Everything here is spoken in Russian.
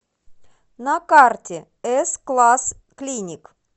на карте эс класс клиник